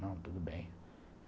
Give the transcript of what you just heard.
Não, tudo bem.